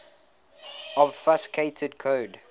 obfuscated code